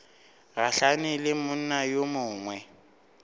gahlane le monna yo mongwe